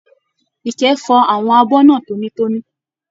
Ìkẹ́ fọ àwọn abọ náà toíitoní.